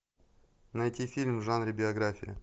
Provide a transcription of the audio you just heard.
найти фильм в жанре биография